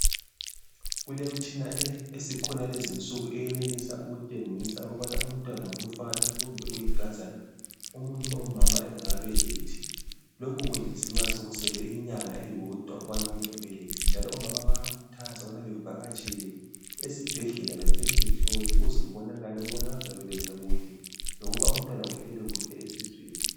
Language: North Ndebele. Kulemitshina esiyenelisa ukutshengisa kulezinsuku ukubana umntwana ngumfana kumbe uyinkazana umuntu ongumama engakabelethu. Lokhu kwenziwa nxa sekusele inyanga eyodwa ukuthi umuntu ebelethe njalo omama bayakhuthazwa ukubana bavakatshele esibhedlela befike behlole ukubana bazabeletha kuhle lokubana umntwana uhlezi kuhle esiswini.